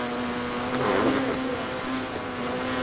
Hvað fæ ég í staðinn?